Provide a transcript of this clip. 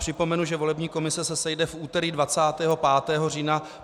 Připomenu, že volební komise se sejde v úterý 25. října.